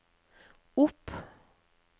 opp